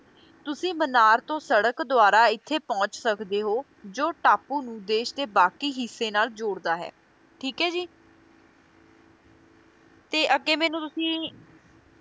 ਤੁਸੀ ਮਨਾਰ ਤੋਂ ਸੜਕ ਦੁਆਰਾ ਇੱਥੇ ਪਹੁੰਚ ਸਕਦੇ ਹੋ, ਜੋ ਟਾਪੂ ਨੂੰ ਦੇਸ਼ ਦੇ ਬਾਕੀ ਹਿੱਸੇ ਨਾਲ ਜੋੜਦਾ ਹੈ, ਠੀਕ ਹੈ ਜੀ, ਤੇ ਅੱਗੇ ਮੈਨੂੰ ਤੁਸੀ